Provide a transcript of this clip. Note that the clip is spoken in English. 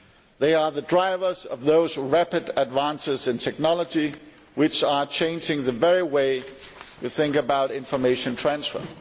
They are the drivers of those rapid advances in technology which are changing the very way we think about information transfer.